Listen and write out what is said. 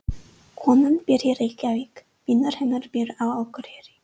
Konan býr í Reykjavík. Vinur hennar býr á Akureyri.